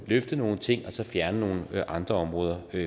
løfte nogle ting og så fjerne nogle andre områder